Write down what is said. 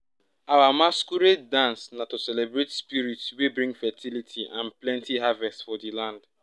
our masquerade dance na to celebrate spirit wey bring fertility and plenty harvest for di land